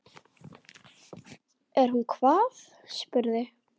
Er hún hvað, spurði